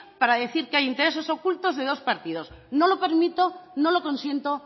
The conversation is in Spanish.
para decir que hay intereses ocultos de dos partidos no lo permito no lo consiento